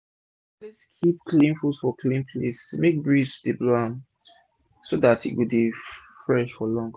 always keep clean fud for clean place make breeze for dey blow am so dat e go dey fresh for long